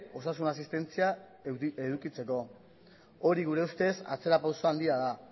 osasun asistentzia edukitzeko hori gure ustez atzera pauso handia da